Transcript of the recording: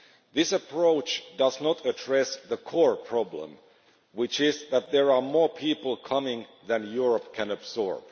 This approach does not address the core problem, which is that there are more people coming than Europe can absorb.